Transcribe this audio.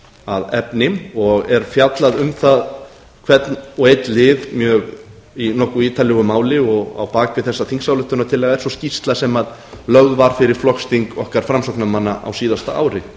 að efni og er fjallað um hvernig og einn lið í nokkuð ítarlegu máli á bak við þessa þingsályktunartillögu er svo skýrsla sem lögð var fyrir flokksþing okkar framsóknarmanna á síðasta ári